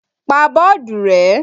Pa bọ́ọ̀dù rẹ́!